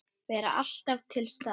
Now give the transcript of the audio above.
Að vera alltaf til staðar.